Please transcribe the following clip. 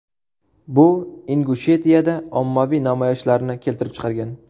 Bu Ingushetiyada ommaviy namoyishlarni keltirib chiqargan.